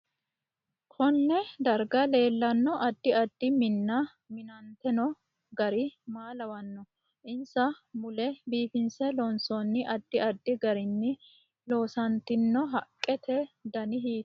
Konne darha leelanno addi addi minna minantino gari maa lawanno insa mule biifinse looonsooni addi addi garini loosantino haqqete danni hiitooho